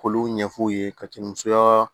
K'olu ɲɛf'u ye ka tɛmɛ musoya